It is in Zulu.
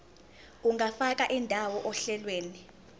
ungafaka indawo ohlelweni